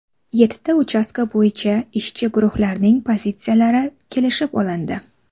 Yettita uchastka bo‘yicha ishchi guruhlarning pozitsiyalari kelishib olindi.